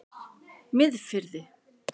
Miðfirði